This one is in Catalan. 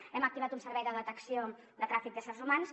hem activat un servei de detecció de tràfic d’éssers humans